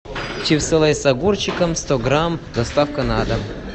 чипсы лейс с огурчиком сто грамм доставка на дом